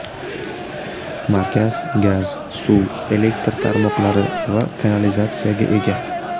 Markaz gaz, suv, elektr tarmoqlari va kanalizatsiyaga ega.